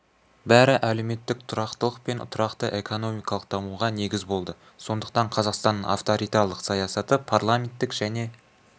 бәрі әлеуметтік тұрақтылық пен тұрақты экономикалық дамуға негіз болды сондықтан қазақстанның авторитарлық саясаты парламенттік және